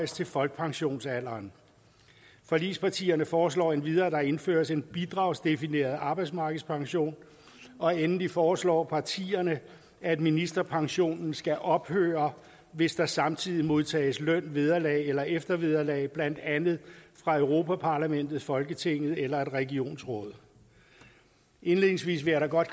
til folkepensionsalderen forligspartierne foreslår endvidere at der indføres en bidragsdefineret arbejdsmarkedspension og endelig foreslår partierne at ministerpensionen skal ophøre hvis der samtidig modtages løn vederlag eller eftervederlag fra blandt andet europa parlamentet folketinget eller et regionsråd indledningsvis vil jeg da godt